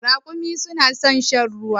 Raƙumai su na san shan ruwa.